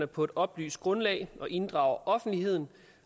på et oplyst grundlag og inddrager offentligheden